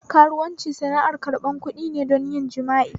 Karuwanci sana'ar ƙarɓan kuɗin ne don yin jima'i